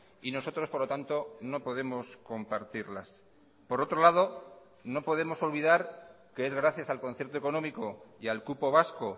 y nosotros por lo tanto no podemos compartirlas por otro lado no podemos olvidar que es gracias al concierto económico y al cupo vasco